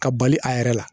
Ka bali a yɛrɛ la